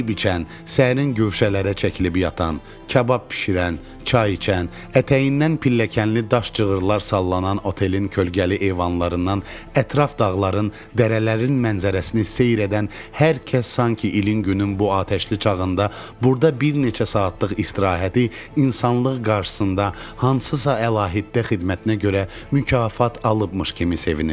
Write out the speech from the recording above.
Yeyib-içən, səhrin güşələrə çəkilib yatan, kabab bişirən, çay içən, ətəyindən pilləkənli daş cığırlar sallanan otelin kölgəli eyvanlarından ətraf dağların, dərələrin mənzərəsini seyr edən hər kəs sanki ilin-günün bu atəşli çağında burda bir neçə saatlıq istirahəti insanlıq qarşısında hansısa əlahiddə xidmətinə görə mükafat alıbmış kimi sevinirdi.